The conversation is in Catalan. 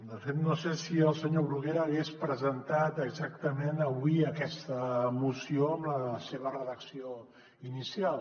de fet no sé si el senyor bruguera hagués presentat exactament avui aquesta moció amb la seva redacció inicial